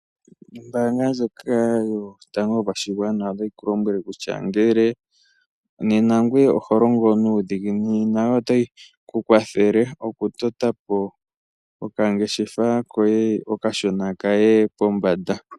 Ombaanga ndjoka yotango yopashigwana otayi ku lombwele kutya ngele ngoye oho longo nuudhiginini otayi ku kwathele okutota po okangeshefa koye okashona kaye pombanda.